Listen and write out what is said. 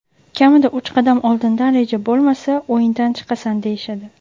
kamida uch qadam oldindan reja bo‘lmasa o‘yindan chiqasan, deyishadi.